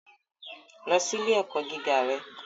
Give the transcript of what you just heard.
Lọ si ile-ẹkọ giga rẹ